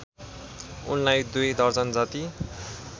उनलाई दुई दर्जनजति